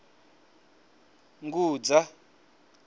ngudza